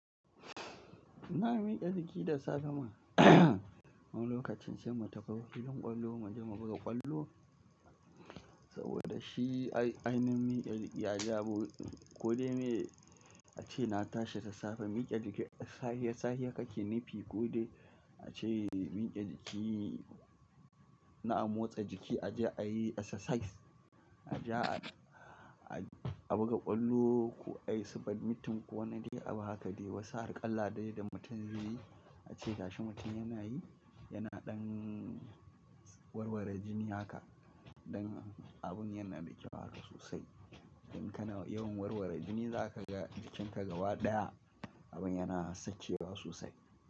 Na miƙe jiki da safe ma wani lokacin sai mu tafi filin ƙwallo mu je mu buga ƙwallo saboda shi ainashin miƙe jiki ya jawo. Ko dai me ace na tashi da safe miƙe jiki, safe safe kake nufi ko dai ace miƙe jiki na amotsa jiki a je a yi exercise, a je a buga ƙwallo ko a yi submiting ko wane dai abu haka dai. Wasu harƙalla dai da mutum zai yi, ace gashi mutum yana yi yana ɗan warwara jini haka don abun yana miƙewa haka sosai. Don kana yawan warwara jini za ka ga jikinka gaba ɗaya abin yana sachewa sosai.